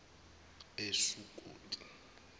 esukoti